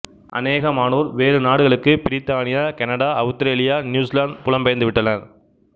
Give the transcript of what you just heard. அநேகமானோர் வேறு நாடுகளுக்கு பிரித்தானியா கனடா அவுத்திரேலியா நியூசிலாந்து புலம் பெயர்ந்துவிட்டனர்